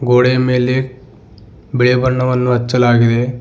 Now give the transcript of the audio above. ಗೋಡೆ ಮೇಲೆ ಬಿಳಿಯ ಬಣ್ಣವನ್ನು ಹಚ್ಚಲಾಗಿದೆ.